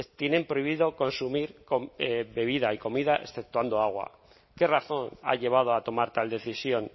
tienen prohibido consumir bebidas y comida exceptuando agua qué razón ha llevado a tomar tal decisión